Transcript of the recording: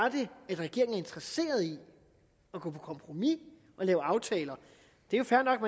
interesseret i at gå på kompromis og lave aftaler det er jo fair nok